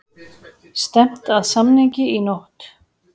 Stefnt að samningi í nótt